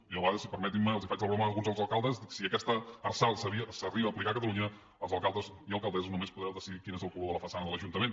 jo a vegades i permetin me els faig la broma a alguns dels alcaldes i dic si aquesta arsal s’arriba a aplicar a catalunya els alcaldes i alcaldesses només podreu decidir quin és el color de la façana de l’ajuntament